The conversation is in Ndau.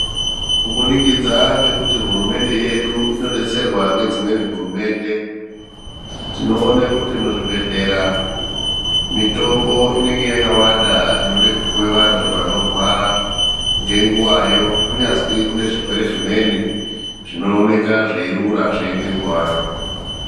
Kubudikidza ngekuti hurumende yedu inodetserwa ngedzimweni hurumende, tinoone kuti muzvibhehlera mitombo ine yakawanda inode kupihwa vantu vanorwara ngenguwayo kunyazi kunezvirwere zvimwe zvinooneka zveirura zveingenguvayo.